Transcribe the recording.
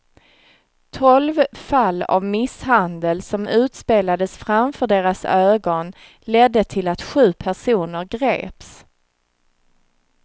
Tolv fall av misshandel som utspelades framför deras ögon ledde till att sju personer greps.